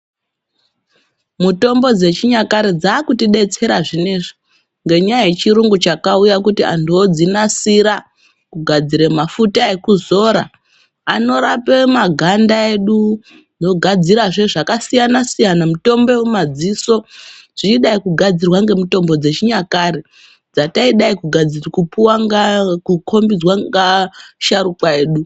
Mutombo dzechinyakare dzava kutidetsera zvineizvi ngenyaya yechiyungu chakauya kuti antu adzinasire kugadzire mafuta ekuzora anorapa maganda edu zvogadzira zve zvakasiyana siyana mitombo yemafziso zveidai kugadzirwa nemitombo yakare dzataidai kukombidzwa neasharukwa edu.